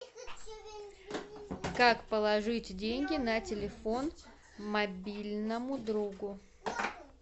как положить деньги на телефон мобильному другу